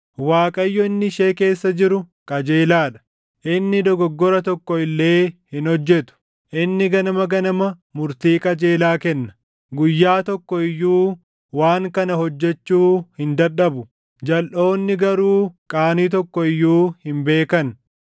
Waaqayyo inni ishee keessa jiru qajeelaa dha; inni dogoggora tokko illee hin hojjetu. Inni ganama ganama murtii qajeelaa kenna; guyyaa tokko iyyuu waan kana hojjechuu hin dadhabu; jalʼoonni garuu qaanii tokko iyyuu hin beekan.